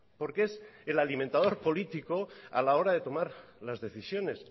porque es el alimentador político a la hora de tomar las decisiones